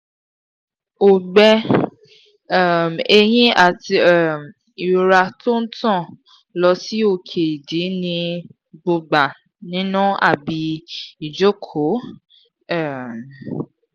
ogbe um eyin ati um irora to n tan lo si oke idi ni gbogba nina abi ijoko um